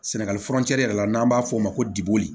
Sɛnɛgali furancɛ yɛrɛ la n'an b'a f'o ma ko diboli